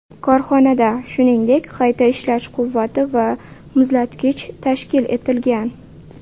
Korxonada, shuningdek, qayta ishlash quvvati va muzlatgich tashkil etilgan.